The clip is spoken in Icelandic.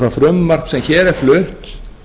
það frumvarp sem hér er flutt